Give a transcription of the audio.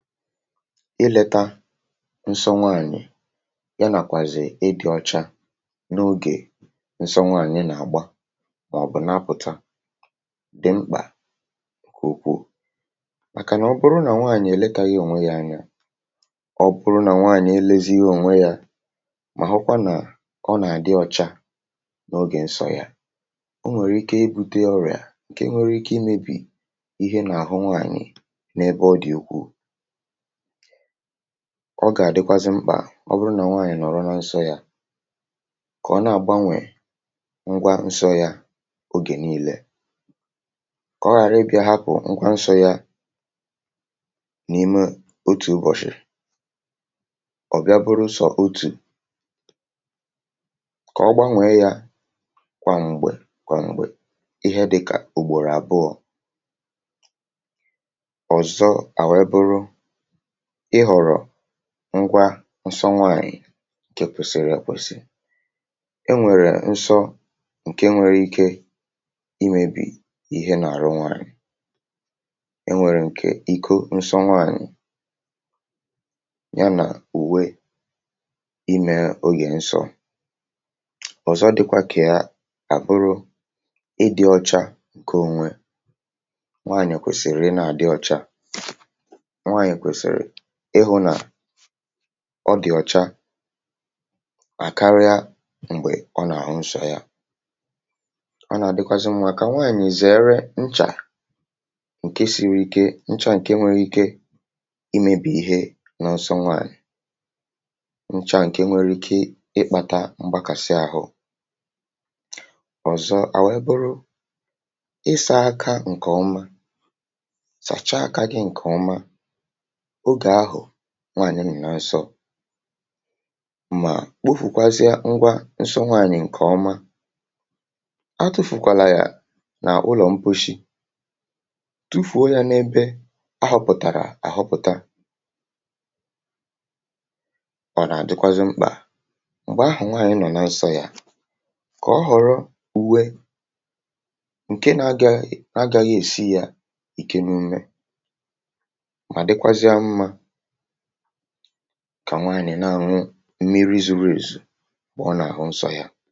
ilėtȧ nsọ nwaànyị̀, ya nàkwàzị̀ ịdị̇ ọcha n’ogè nsọ nwaànyị̀ nà-àgba, màọbụ̀ na-apụ̀ta, dị mkpà kwùkwù, màkànà ọ bụrụ nà nwaànyị̀ èletàghị ònwe yȧ anya, ọ nwere ike ibute ọrịà ǹke nwere ike imėbì ihe nà-àhụ nwaànyị̀. N’ebe ọ dị̀ ùkwù, ọ gà-àdịkwazị mkpà, ọ bụrụ nà nwaànyị̀ nọ̀rọ nà nsọ yȧ, kà ọ na-àgbanwè ngwa nsọ yȧ ogè niile, kà ọ ghàra ibìa hapụ̀ nkwa nsọ̇ yȧ n’ime otù ubọ̀shị̀. um Ọ̀ bịa bụrụ sọ otù, kà ọ gbanwèe ya kwà m̀gbè kwà m̀gbè, ihe dịkà ùgbòrò àbụọ. Ngwa nsọ nwaànyị̀ kè kwèsìrì èkwèsì, e nwèrè nso ǹke nwere ike imėbì ihe nà-àrụ nwaànyị̀. E nwèrè ǹkè iko nso nwaànyị̀, ya nà uwe imė, ogè nso ọ̀zọ dị̇kwȧ kà àbụrụ ịdị̇ ọcha ǹkè onwe nwaànyị̀. Ọ kwèsìrì e na-àdị ọcha, ọ dị̀ ọ̀cha à karịa m̀gbè ọ nà-àhụ nsọ̇ yȧ. Ọ nà-àdịkwazị m̀mụ̀ àkà, nwaànyị̀ zère nchà ǹke siri ike, nchà ǹke nwere ike imėbì ihe n’ọsọ nwàànyị̀. Nchà ǹke nwere ike ịkpȧtȧ mgbakàsi àhụ, ọ̀zọ à wụ̀ eburu ị sȧ aka ǹkè umȧ, sàcha aka gị ǹkè umȧ, nwaànyị nụ̀ na nsọ̇, mà kpofùkwazịa ngwa nso nwaànyị̀ ǹkè ọma, atụ̀fùkwàlà yà n’ụlọ̀ mposhi, tufùo ya n’ebe ahọ̀pụ̀tàrà àhọpụ̀ta. um Ọ̀ nà-àdịkwazị mkpà m̀gbè ahụ̀ nwaànyị nọ̀ na nsọ̇ yȧ, kà ọ họ̀rọ uwe ǹke na-agȧ gị, esi ya ìke n’ume, kà nwaànyị̀ na-ànwụrụ mmiri̇ zuberezù, bụ̀ ọ nà-àhụ nsọ yȧ.